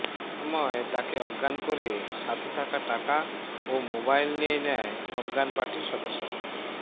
এসময় তাকে অজ্ঞান করে সাথে থাকা টাকা ও মোবাইল নিয়ে নেয় অজ্ঞান পার্টির সদস্যরা